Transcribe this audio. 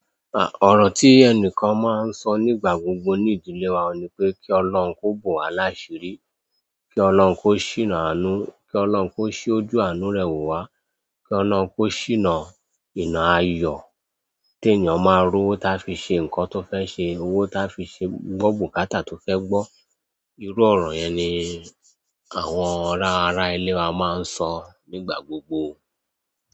À, ọ̀rọ̀ tí ẹnìkan máa ń sọ nígbà gbogbo ní ìdílé wa ni pé kí Ọlọ́run kó bowá lásirí, kí Ọlọ́run kó ṣìná àánú, kí Ọlọ́run kó ṣí ojú àánú rẹ̀ wò wá, kí Ọlọ́run kó ṣìná ìná ayọ̀. Tí ènìyàn máa ró owó táa fi ṣe nǹkan tó fẹ́ ṣe, owó táa fi ṣe gbọ́ bùkátà tó fẹ́ gbọ́. Irú ọ̀rọ̀ yẹn ni àwọn ara ilé wa máa ń sọ nígbà gbogbo.